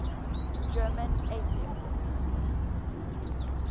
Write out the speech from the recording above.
german atheists